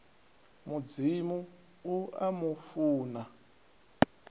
mudzimu u a mu funa